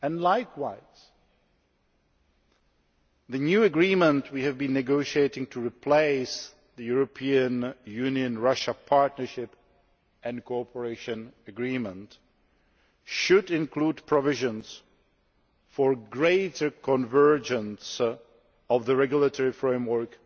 Likewise, the new agreement we have been negotiating to replace the European Union Russia Partnership and Cooperation Agreement should include provisions for greater convergence of the regulatory framework